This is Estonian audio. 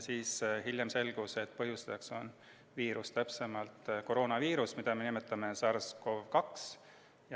Hiljem selgus, et põhjustajaks on viirus, täpsemalt koroonaviirus, mida me nimetame SARS-CoV-2.